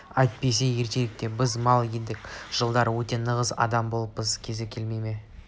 әйтпесе ертеректе біз мал едік жылдар өте нағыз адам болыппыздың кезі келмей ме